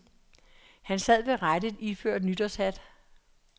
Han sad ved rattet iført nytårshat.